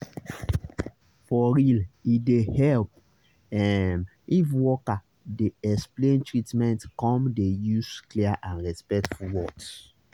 for real e dey help ehm if worker dey explain treatment come dey use clear and respectful words